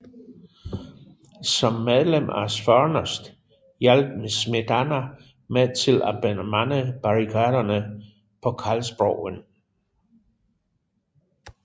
Som medlem af Svornost hjalp Smetana med til at bemande barrikaderne på Karlsbroen